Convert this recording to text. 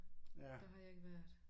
Der har jeg ikke været